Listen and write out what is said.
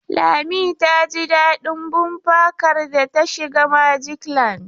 Lami ta jin daɗin bumper car da ta shiga magic land.